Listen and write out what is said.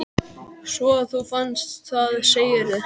Svo að þú fannst það, segirðu?